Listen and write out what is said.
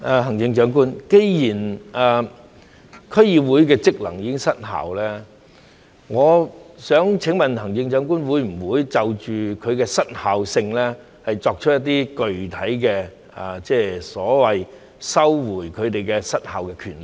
行政長官，既然區議會的職能已失效，我想請問行政長官會否就其失效性，作出一些具體的所謂收回他們失效的權力呢？